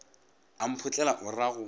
a mphotlela o ra go